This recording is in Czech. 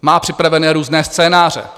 Má připravené různé scénáře.